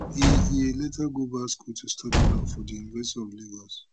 e e later go back school to study law for di university of lagos